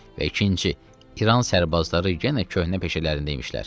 Və ikinci, İran sərbazları yenə köhnə peşələrində imişlər.